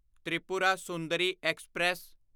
Tripura Sundari express